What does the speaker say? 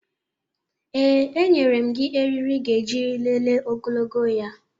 Ee, enyere m gị eriri ị ga-eji lelee ogologo ya